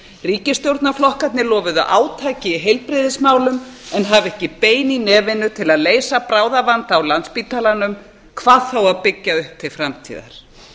ríkisstjórnarflokkarnir lofuðu átaki í heilbrigðismálum en hafa ekki bein í nefinu til að leysa bráðavanda á landspítalanum hvað þá að byggja upp til framtíðar